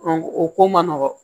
o ko man nɔgɔn